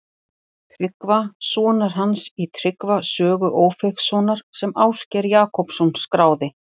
Tryggva sonar hans í Tryggva sögu Ófeigssonar sem Ásgeir Jakobsson skráði.